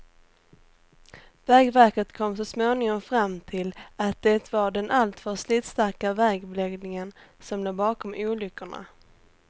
Vägverket kom så småningom fram till att det var den alltför slitstarka vägbeläggningen som låg bakom olyckorna.